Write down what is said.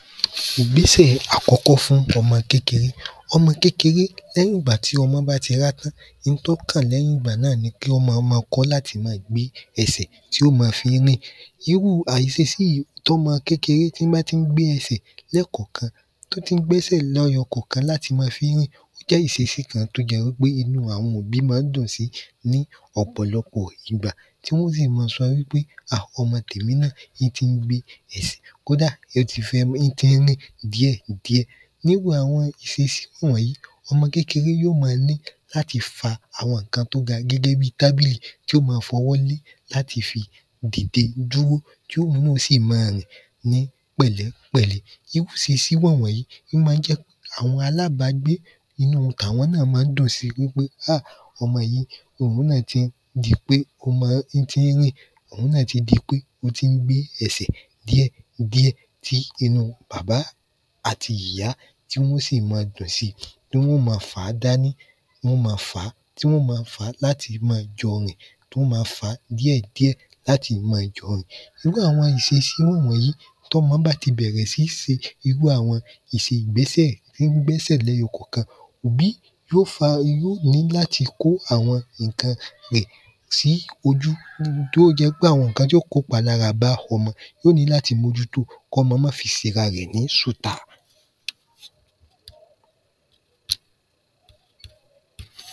Ìgbésẹ̀ àkọ́kọ́ fún ọmọ kékeré ọmọ kékeré lẹ́yìn ìgbà tí ọmọ bá ti rá in tó kàn lẹ́yìn ìgbà náà ni kí ọ ma ma kọ́ láti má a gbé ẹsẹ̀ tí ó ma fí rìn irú hà iṣesí yí tọ́mọ kékeré tí bá tí ń gbé ẹsẹ̀ lẹ́ẹ̀ kọ̀kan tó tí gbẹ́sẹ̀ lẹ́yọ kọ̀kan láti ma fí ń rìn jẹ́ ìṣesí kan tó jẹ́ wí pé inú àwọn òbí má ń dùn ní ọ̀pọ̀lọpọ̀ ìgbà tí wọ́n ó sì ma sọ wí pé hà ọmọ tèmi náà í tí ń gbé ẹsẹ̀ kódà ín ti ń rìn díẹ̀ díẹ̀ níwu àwọn ìṣesí wọ̀n yìí ọmọ kékeré yó ma ní láti fa àwọn ǹkan tó ga gẹ́gẹ́ bi tábìlì tí ó ma fọwọ́ lé láti fi dìde dúró tí òun náà ó sì ma rìn ní pẹ̀lẹ́ pẹ̀lẹ́ iwú ìṣesí wọ̀n wọ̀n yìí ó ma ń jẹ́ àwọn alábágbé inúu tàwọn náà má ń dùn si wí pé háà ọmọ yí òun náà tí ń di pé ín tí ń rìn òun náà tí di pé ó tí ń gbé ẹsẹ̀ díẹ̀ díẹ̀ tí inú bàbá àtì ìyá tí wọ́n ó sì ma dùn si tí wọ́n ó ma fàá dání wọ́n ó ma fàá tí wọ́n ó ma fàá láti ma jọ rìn wọ́n ó ma fàá díẹ̀ díẹ̀ láti ma jọ rìn nígbà àwọn ìṣeṣí wọ̀n wọ̀n yí tọ́mọ bá ti bẹ̀rẹ̀ sí se irú àwọn ìṣẹ̀gbésẹ̀ ín gbẹ́sẹ̀ lẹ́yọ kọ̀kan òbí yó fa irú ní láti kó àwọn ìnkan rè sí ojú tó o jẹ́ pé àwọn ǹkan tó kó palára bá ọmọ yó ní láti mójútó kọ́mọ má fi sera rẹ̀ ní ṣùtá